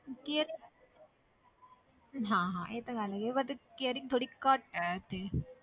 Caring ਹਾਂ ਹਾਂ ਇਹ ਤਾਂ ਗੱਲ ਹੈਗੀ ਹੈ but caring ਥੋੜ੍ਹੀ ਘੱਟ ਹੈ ਇੱਥੇ